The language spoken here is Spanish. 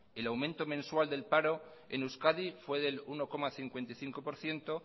el aumento mensual del paro en euskadi fue del uno coma cincuenta y cinco por ciento